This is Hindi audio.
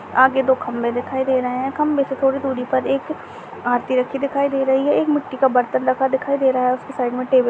आगे दो खंबे दिखाई दे रहे है खंबे से थोड़ी दूरी पर एक आरती रखी दिखाई दे रही है एक मिट्टी का बर्तन रखा दिखाई दे रहा है उसके साइड में टेबल --